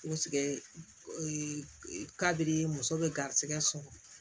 kabiri muso bɛ garisigɛ sɔrɔ